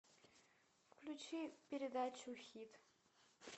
включи передачу хит